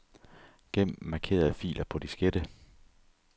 Gem markerede filer på diskette.